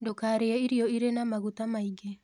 Ndũkarĩe irio ĩrĩ na magũta maĩngĩ